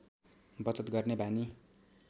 बचत गर्ने बानी